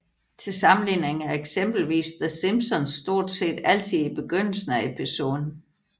Til sammenligning er eksempelvis The Simpsons stort set altid i begyndelsen af episoden